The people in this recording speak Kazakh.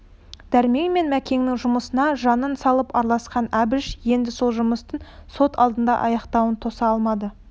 дәрмен мен мәкеннің жұмысына жанын салып араласқан әбіш енді сол жұмыстың сот алдында аяқтауын тоса алмады